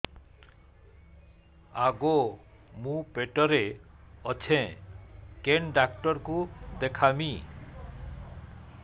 ଆଗୋ ମୁଁ ପେଟରେ ଅଛେ କେନ୍ ଡାକ୍ତର କୁ ଦେଖାମି